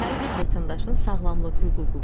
Hər bir vətəndaşın sağlamlıq hüququ var.